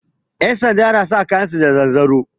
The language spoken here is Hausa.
Yansanda na sa kayan su da zanzaro